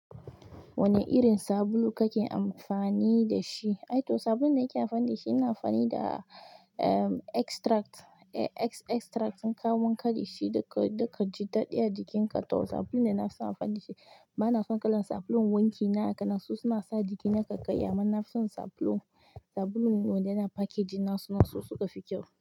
Wane irin sabulu kake amfani da shi? Aito, sabulun da nake amfani da shi ina amfani da, um, extract, e-extracts in kayi wanka dashi duka, duka ji daɗi a jikin ka to sabulun da na fi son amfani da shi. Ba na son kalan sabulun wanki na a kanansu suna sa jiki na ƙaiƙayi amma na fi son sabulun, sabulun wanda yana packaging na suna so suka fi kyau.